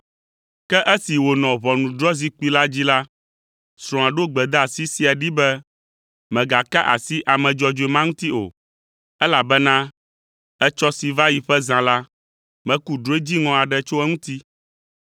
Ke esi wònɔ ʋɔnudrɔ̃zikpui la dzi la, srɔ̃a ɖo gbedeasi sia ɖee be, “Mègaka asi ame dzɔdzɔe ma ŋuti o, elabena etsɔ si va yi ƒe zã la, meku drɔ̃e dziŋɔ aɖe tso eŋuti.”